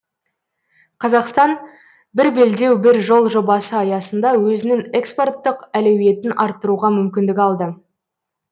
қазақтан бір белдеу бір жол жобасы аясында өзінің экспорттық әлеуетін арттыруға мүмкіндік алды